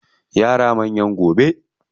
Yara manyan gobe.